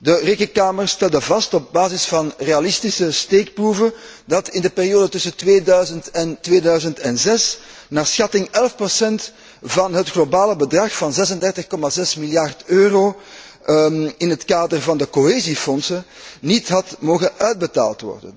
De Rekenkamer stelde vast op basis van realistische steekproeven dat in de periode tussen 2000 en 2006 naar schatting 11 procent van het globale bedrag van 36,6 miljard euro in het kader van de cohesiefondsen niet had mogen worden uitbetaald.